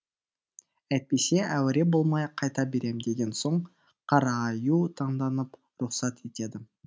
әйтпесе әуре болмай қайта берем деген соң қарааю таңданып рұқсат етеді